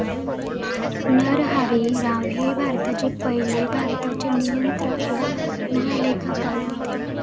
नरहरी राव हे भारताचे पहिले भारताचे नियंत्रक व महालेखापाल होते.